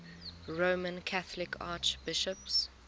roman catholic archbishops